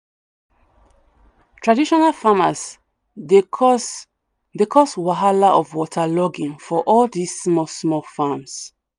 traditional farmers dey cause dey cause wahala of waterlogging for all this small small farms